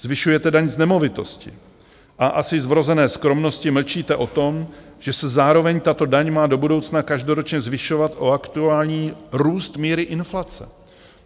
Zvyšujete daň z nemovitostí a asi z vrozené skromnosti mlčíte o tom, že se zároveň tato daň má do budoucna každoročně zvyšovat o aktuální růst míry inflace.